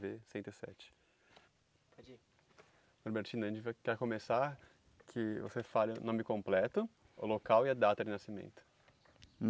Vê cento e sete. Norbertino, a gente vai quer começar que você fale o nome completo, o local e a data de nascimento.